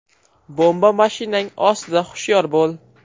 Bomba mashinang ostida, hushyor bo‘l.